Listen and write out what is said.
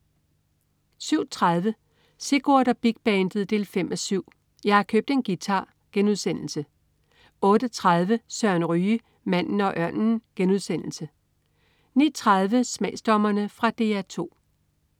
07.30 Sigurd og Big Bandet 5:7. Jeg har købt en guitar* 08.30 Søren Ryge. Manden og ørnen* 09.30 Smagsdommerne. Fra DR 2